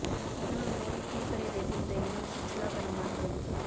பிரதமர் மோடி டீ கடை வைத்திருந்த இடம் சுற்றுலாத் தலமாகிறது